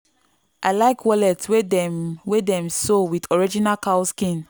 i like wallet wey dem wey dem sew with original cow skin.